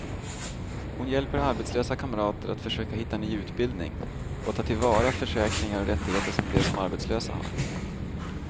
Hon hjälper arbetslösa kamrater att försöka hitta ny utbildning och ta till vara försäkringar och rättigheter som de som arbetslösa har.